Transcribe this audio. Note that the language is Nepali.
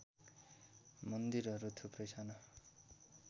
मन्दिरहरू थुप्रै साना